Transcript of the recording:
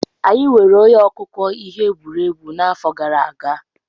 Anyị nweere onye akụkọ ihe egwuregwu n'afọ gara aga.